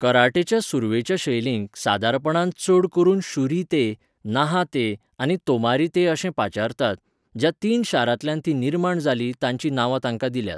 कराटेच्या सुरवेच्या शैलींक सादारणपणान चड करून शुरी ते, नाहा ते आनी तोमारी ते अशें पाचारतात, ज्या तीन शारांतल्यान तीं निर्माण जालीं तांची नांवा तांकां दिल्यात.